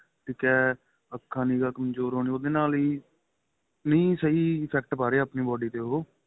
ਠੀਕ ਏ ਅੱਖਾਂ ਦੀ ਨਿਗਾਂ ਕਮਜ਼ੋਰ ਹੋਣੀ ਉਹਦੇ ਨਾਲ ਹੀ ਨਹੀਂ ਸਹੀ effect ਪਾਂ ਰਹੇ ਆਪਣੀ body ਤੇ ਉਹ